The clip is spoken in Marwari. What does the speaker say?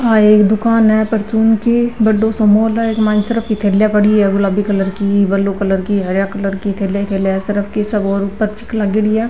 आ एक दुकान है परचून की बड़ो सो मॉल है इक मायने सर्फ़ की थैलिया पडी है गुलाबी कलर की ब्लू कलर की हरया कलर की थैलिया ही थैलिया है सरफ की लागेड़ी है आ।